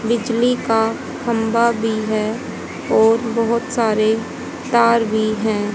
बिजली का खंबा भी है और बहोत सारे तार भी है।